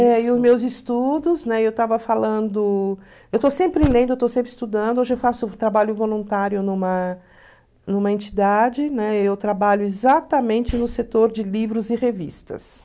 Eh e os meus estudos, eu estava falando, eu estou sempre lendo, estou sempre estudando, hoje eu faço trabalho voluntário numa numa entidade, né, eu trabalho exatamente no setor de livros e revistas.